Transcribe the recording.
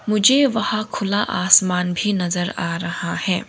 मुझे वहां खुला आसमान भी नजर आ रहा है।